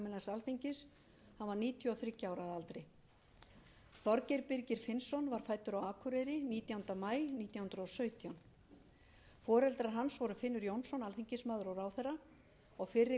alþingis hann var níutíu og þriggja ára að aldri þorgeir birgir finnsson var fæddur á akureyri nítjánda maí nítján hundruð og sautján foreldrar hans voru finnur jónsson alþingismaður og ráðherra og fyrri kona hans auður sigurgeirsdóttir húsmóðir